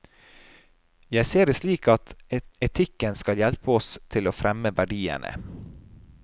Jeg ser det slik at etikken skal hjelpe oss til å fremme verdiene.